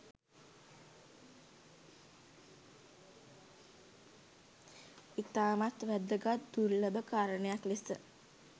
ඉතාමත් වැදගත් දුර්ලභ කාරණයක් ලෙස